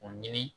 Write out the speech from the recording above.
O ɲini